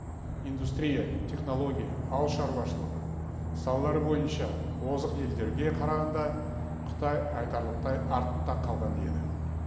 индустрия технология ауыл шаруашылығы салалары бойынша озық елдерге қарағанда қытай айтарлықтай артта қалған еді